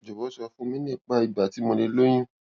jọwọ sọ fún mi nípa ìgbà tí mo lè lóyún